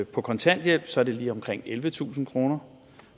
på kontanthjælp så er det lige omkring ellevetusind kroner